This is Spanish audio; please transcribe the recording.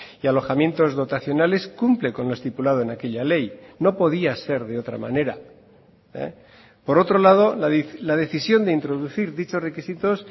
y alojamientos dotacionales cumple con lo estipulado en aquella ley no podía ser de otra manera por otro lado la decisión de introducir dichos requisitos